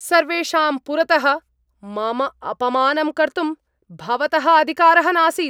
सर्वेषां पुरतः मम अपमानं कर्तुं भवतः अधिकारः नासीत्।